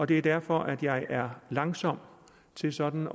det er derfor jeg er langsom til sådan